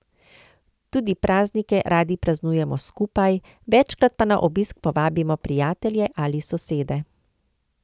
Tudi praznike radi praznujemo skupaj, večkrat pa na obisk povabimo prijatelje ali sosede.